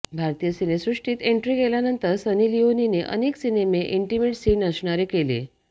भारतीय सिनेसृष्टीत एन्ट्री केल्यानंतर सनी लिओनीने अनेक सिनेमे इंटिमेट सीन असणारे केले